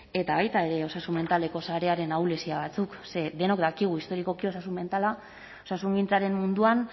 eta baita ere osasun mentaleko sarearen ahulezia batzuk denok dakigu historikoki osasun mentala osasungintzaren munduan